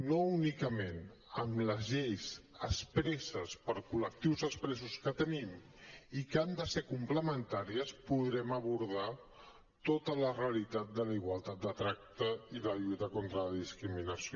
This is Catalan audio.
no únicament amb les lleis expresses per a col·lectius expressos que tenim i que han de ser complementàries podrem abordar tota la realitat de la igualtat de tracte i de la lluita contra la discriminació